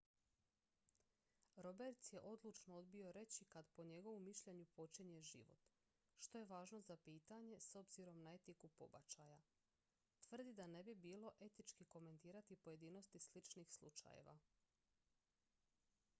roberts je odlučno odbio reći kad po njegovu mišljenju počinje život što je važno pitanje s obzirom na etiku pobačaja tvrdi da ne bi bilo etički komentirati pojedinosti sličnih slučajeva